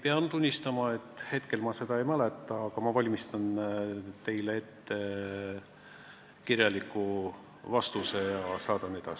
Pean tunnistama, et hetkel ma seda ei mäleta, aga valmistan teile ette kirjaliku vastuse ja saadan teile.